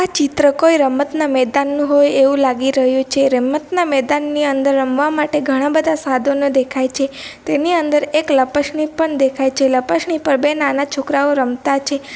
આ ચિત્ર કોઈ રમતના મેદાનનું હોય એવું લાગી રહ્યું છે રમતના મેદાનની અંદર રમવા માટે ઘણા બધા સાધનો દેખાય છે તેની અંદર એક લપસની પણ દેખાય છે લપસણી પર બે નાના છોકરાઓ રમતા છે .